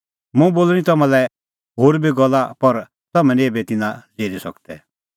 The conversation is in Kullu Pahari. मुंह बोल़णीं ती तम्हां लै होर बी गल्ला पर तम्हैं निं एभै तिन्नां ज़िरी सकदै